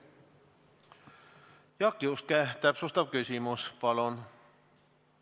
Jaak Juske, täpsustav küsimus, palun!